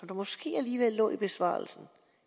det måske alligevel lå i besvarelsen